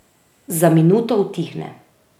Za minuto utihne.